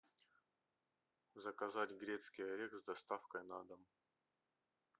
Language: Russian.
заказать грецкий орех с доставкой на дом